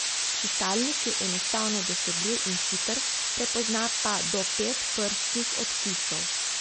Čitalnik je enostavno dosegljiv in hiter, prepozna pa do pet prstnih odtisov.